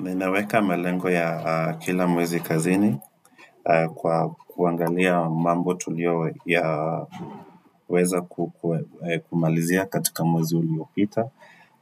Ninaweka malengo ya kila mwezi kazini kwa kuangalia mambo tuliyo ya weza kumalizia katika mwezi uliopita